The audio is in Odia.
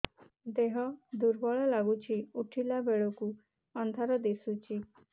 ଦେହ ଦୁର୍ବଳ ଲାଗୁଛି ଉଠିଲା ବେଳକୁ ଅନ୍ଧାର ଦିଶୁଚି